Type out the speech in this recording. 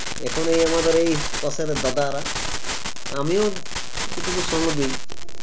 এখন এই আমাদের এই পাশের দাদারা আমিও এটুকু সংঘ দেই